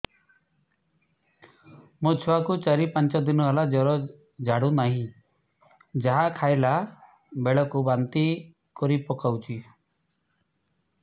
ମୋ ଛୁଆ କୁ ଚାର ପାଞ୍ଚ ଦିନ ହେଲା ଜର ଛାଡୁ ନାହିଁ ଯାହା ଖାଇଲା ବେଳକୁ ବାନ୍ତି କରି ପକଉଛି